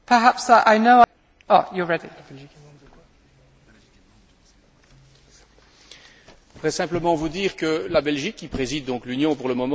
Je voudrais simplement vous dire que la Belgique, qui préside l'Union pour le moment, est membre du Conseil des droits de l'homme et elle se fera évidemment le devoir de relayer votre préoccupation.